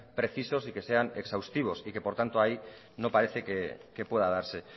precisos y que sean exhaustivos y que por tanto ahí no parece que pueda darse